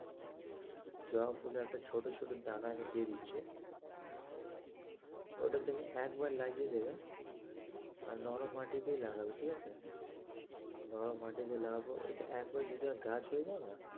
জবা ফুলের একটা ছোটো ছোটো দানা আমি দিয়েদিচ্ছে ওইটা তুমি একবার লাগিয়ে দেবে আর নরম মাটিতেই লাগাবে ঠিক আছে নরম মাটিতে লাগাবার পর একবার যদি গাছ হয়েযায় না,